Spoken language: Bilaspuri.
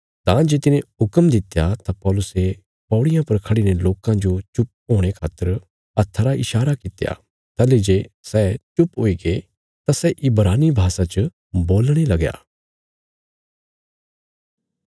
तां जे तिने हुक्म दित्या तां पौलुसे पैड़ियां पर खड़ीने लोकां जो चुप होणे खातर हत्था रा ईशारा कित्या ताहली जे सै चुप हुईगे तां सै इब्रानी भाषा च बोलणे लगया